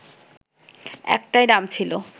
একটা নাম ছিল